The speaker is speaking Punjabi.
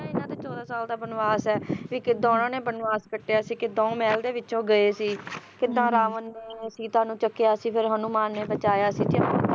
ਜਿਹੜਾ ਇਹਨਾਂ ਦਾ ਚੌਦਾਂ ਸਾਲਾਂ ਦਾ ਬਨਵਾਸ ਹੈ ਕਿਦਾਂ ਉਹਨਾਂ ਨੇ ਬਨਵਾਸ ਕੱਟਿਆ ਸੀ ਕਿਦਾਂ ਉਹ ਮਹਿਲ ਦੇ ਵਿੱਚੋਂ ਗਏ ਸੀ ਹੁੰ ਹੁੰ ਕਿਦਾਂ ਰਾਵਣ ਨੇ ਸੀਤਾ ਨੂੰ ਚੱਕਿਆ ਸੀ ਕਿਦਾਂ ਹਨੂੰਮਾਨ ਨੇ ਬਚਾਇਆ ਸੀ